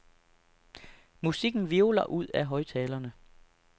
Musikken hvirvler ud af højttalerne.